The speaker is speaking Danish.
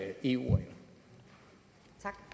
end de